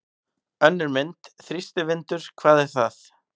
Önnur mynd: Þrýstivindur- hvað er það?